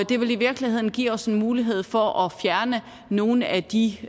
det vil i virkeligheden give os en mulighed for at fjerne nogle af de